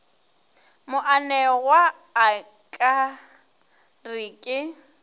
moanegwa a ka re ke